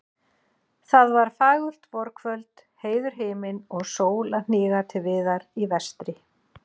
Það var fagurt vorkvöld, heiður himinn og sól að hníga til viðar í vestri.